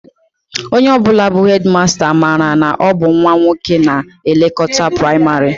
Onye ọ bụla bụ hedịmasta, mara na ọ bụ nnwa nwoke na-elekọta praịmarị